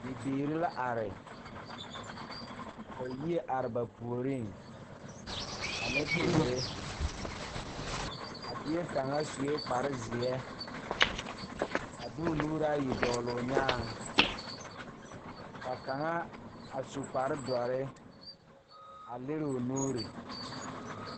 Bibiire la are ka yie are ba puoriŋ ane teere a bie kaŋa suee kparezeɛ a di o nuure ayi dɔgloo nyaaŋ ka kaŋa a su kparedɔre a liroo nuure.